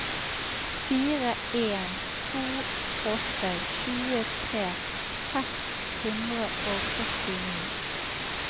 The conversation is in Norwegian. fire en to åtte tjuetre seks hundre og førtini